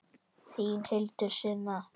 Þín Hildur Sunna.